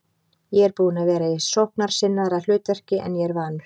Ég er búinn að vera í sóknarsinnaðra hlutverki en ég er vanur.